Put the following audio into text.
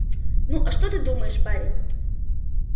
ну а ты что думаешь парень